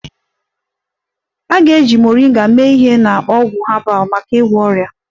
A ga-eji Moringa mee ihe na ọgwụ herbal maka ịgwọ ọrịa